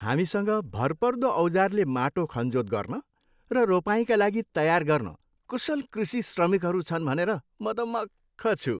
हामीसँग भरपर्दो औजारले माटो खनजोत गर्न र रोपाइँका लागि तयार गर्न कुशल कृषि श्रमिकहरू छन् भनेर म त मख्ख छु।